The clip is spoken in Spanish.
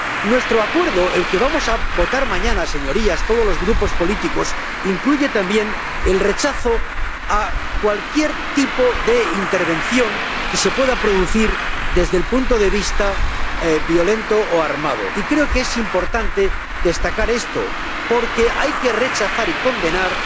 Nuestro acuerdo —el que vamos a votar mañana, señorías, todos los grupos políticos— incluye también el rechazo a cualquier tipo de intervención que se pueda producir desde el punto de vista violento o armado, y creo que es importante destacar esto porque hay que rechazar y condenar